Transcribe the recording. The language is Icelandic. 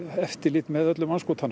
eftirlit með öllum andskotanum